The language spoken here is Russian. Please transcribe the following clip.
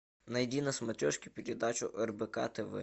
найди на смотрешке передачу рбк тв